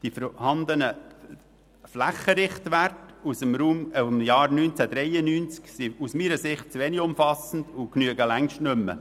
Die vorhandenen Flächenrichtwerte aus dem Jahr 1993 sind aus meiner Sicht zu wenig umfassend und genügen längst nicht mehr.